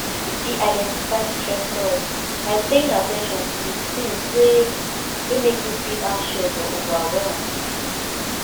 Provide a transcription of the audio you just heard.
you fit identify stressors by paying at ten tion to di tings wey wey make you feel anxious or overwhelmed